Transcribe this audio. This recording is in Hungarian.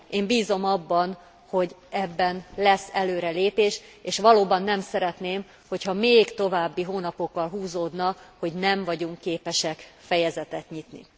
Én bízom abban, hogy ebben lesz előrelépés, és valóban nem szeretném, ha még további hónapokkal húzódna, hogy nem vagyunk képesek fejezetet nyitni.